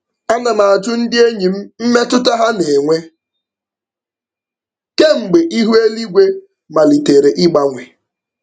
Ana m ajụ ndị enyi m mmetụta ha na-enwe kemgbe ihu eluigwe malitere ịgbanwe.